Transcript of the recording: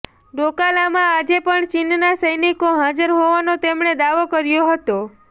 ડોકા લામાં આજે પણ ચીનનાં સૈનિકો હાજર હોવાનો તેમણે દાવો કર્યો હતો